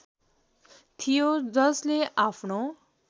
थियो जसले आफ्नो